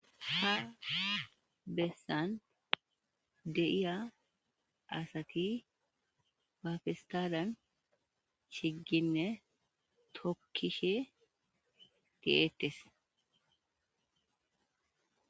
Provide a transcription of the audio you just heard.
Ha bessan de'iiya asati ba pestalliyan shiigine tookishe de'ettes.